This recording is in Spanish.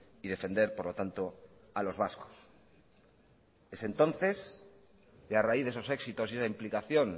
y defender por la tanto a los vascos es entonces y a raíz de esos éxitos y esa implicación